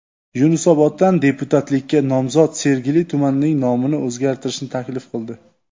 Yunusoboddan deputatlikka nomzod Sergeli tumanining nomini o‘zgartirishni taklif qildi .